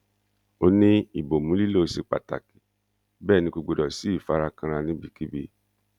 ó ní ìbomú lílọ ṣe pàtàkì bẹẹ ni kò gbọdọ sí ìfarakanra níbikíbi